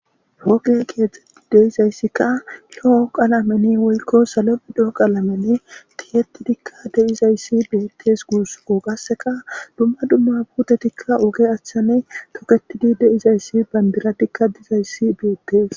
hoge keexetti deizayssikka lo7o qalameni wolko salo bidho qalamenne tiyetti dikka deizayssi beettes guuso qasseka dumma dumma putetikka oge achane toketidi deizayssi bandira dikka dizayssi biettes